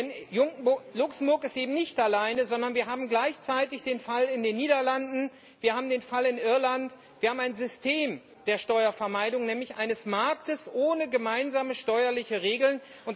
Denn Luxemburg ist eben nicht alleine, sondern wir haben gleichzeitig den Fall in den Niederlanden, wir haben den Fall in Irland, wir haben ein System der Steuervermeidung, nämlich eines Marktes ohne gemeinsame steuerliche Regeln.